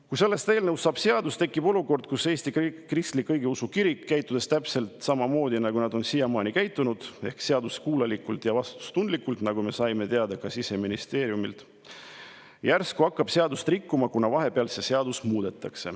Kui sellest eelnõust saab seadus, siis tekib olukord, kus Eesti Kristlik Õigeusu Kirik, käitudes täpselt samamoodi, nagu nad on siiamaani käitunud, ehk seaduskuulekalt ja vastutustundlikult, nagu me saime teada ka Siseministeeriumilt, hakkab järsku seadust rikkuma, kuna vahepeal on seda seadust muudetud.